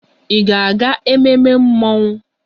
Ị ga-aga ememme mmọnwụ?